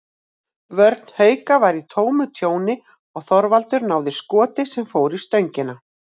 Vörn Hauka var í tómu tjóni og Þorvaldur náði skoti sem fór í stöngina.